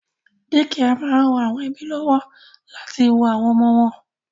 Dékià máa ń ran àwọn ẹ́bí lọ́wọ́ láti wo àwọn ọmọ wọn